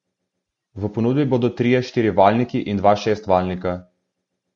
V ponudbi bodo trije štirivaljniki in dva šestvaljnika.